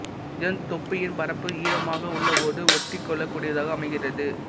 இதன் தொப்பியின் பரப்பு ஈரமாக உள்ளபோது ஒட்டிக்கொள்ளக் கூடியதாக அமைகிறது